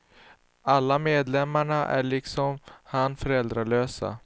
Alla medlemmarna är liksom han föräldralösa.